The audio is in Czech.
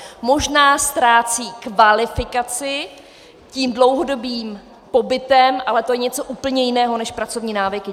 Možná ztrácejí kvalifikaci tím dlouhodobým pobytem, ale to je něco úplně jiného než pracovní návyky.